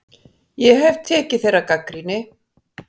Ég hef tekið þeirri gagnrýni.